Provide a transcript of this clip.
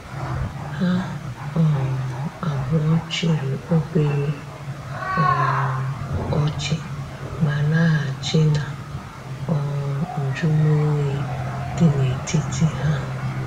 Ha um abuo chiri obere um ochi, ma lahachi na um njumo oyi di na etiti ha.